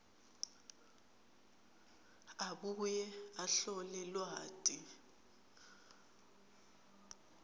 abuye ahlole lwati